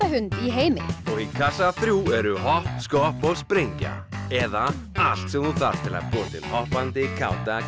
hund í heimi og í kassa þrjú eru hopp skopp og sprengja eða allt sem þú þarft til að búa til hoppandi káta